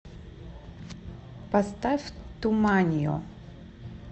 поставь туманио